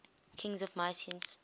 kings of mycenae